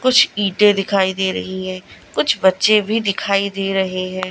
कुछ ईंटें दिखाई दे रही हैं कुछ बच्चे भी दिखाई दे रहे हैं।